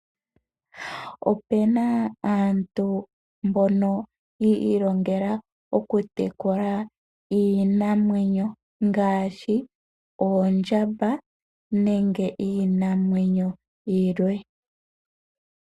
Opuna aantu mboka yi ilongela oku tekula iinamwenyo ngashi oondjamba nenge iinamwenyo yilwe.